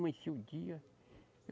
Amanhecia o dia.